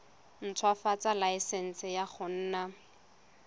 ntshwafatsa laesense ya go nna